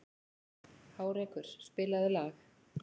Hárekur, spilaðu lag.